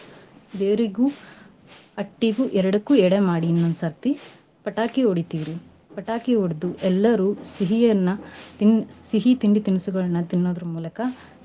ದೇವ್ರಿಗೂ ಅಟ್ಟಿಗೂ ಎರ್ಡಕ್ಕೂ ಎಡೆ ಮಾಡಿ ಇನ್ನೋದ್ ಸರ್ತಿ ಪಟಾಕಿ ಹೊಡಿತಿವ್ ರಿ. ಪಟಾಕಿ ಹೊಡ್ದು ಎಲ್ಲರೂ ಸಿಹಿಯನ್ನ ತಿಂ~ ಸಿಹಿ ತಿಂಡಿ ತಿನಿಸುಗಳನ್ನ ತಿನ್ನೋದರ್ ಮೂಲಕ.